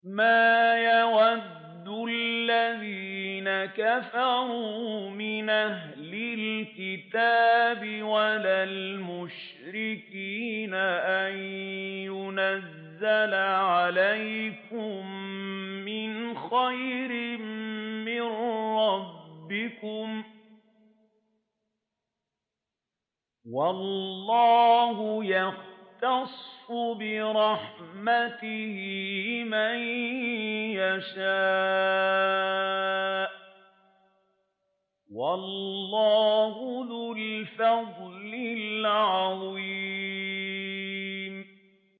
مَّا يَوَدُّ الَّذِينَ كَفَرُوا مِنْ أَهْلِ الْكِتَابِ وَلَا الْمُشْرِكِينَ أَن يُنَزَّلَ عَلَيْكُم مِّنْ خَيْرٍ مِّن رَّبِّكُمْ ۗ وَاللَّهُ يَخْتَصُّ بِرَحْمَتِهِ مَن يَشَاءُ ۚ وَاللَّهُ ذُو الْفَضْلِ الْعَظِيمِ